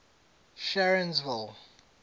sharonsville